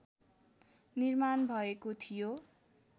निर्माण भएको थियो